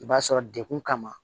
I b'a sɔrɔ dekun kama